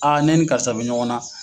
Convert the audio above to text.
ne ni karisa bɛ ɲɔgɔn na.